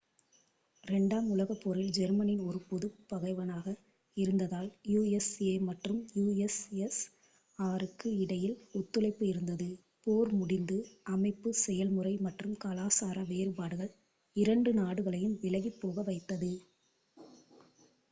2 ஆம் உலகப் போரில் ஜெர்மனி ஒரு பொதுப் பகைவனாக இருந்ததால் யுஎஸ்ஏ மற்றும் யுஎஸ்எஸ்ஆருக்கு இடையில் ஒத்துழைப்பு இருந்தது போர் முடிந்து அமைப்பு செயல் முறை மற்றும் கலாசார வேறுபாடுகள் இரண்டு நாடுகளையும் விலகிப் போக வைத்தது